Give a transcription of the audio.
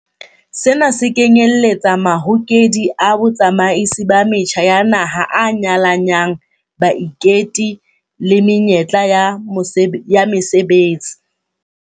Sena se kenyeletsa mahokedi a botsamaisi ba metjha ya naha a nyalanyang baiketi le menyetla ya mesebetsi.